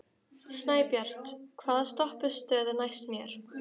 Snæbjört, hvaða stoppistöð er næst mér?